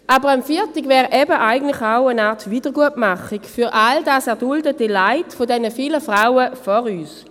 Aber ein Feiertag wäre eben auch eine Art Wiedergutmachung für all das erduldete Leid der vielen Frauen vor uns.